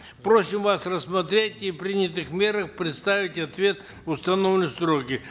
просим вас рассмотреть о принятых мерах предоставить ответ в установленные сроки